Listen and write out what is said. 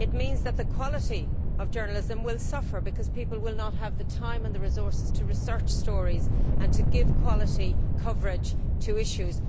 It means that the quality of journalism will suffer because people will not have the time and the resources to research stories and to give quality coverage to issues.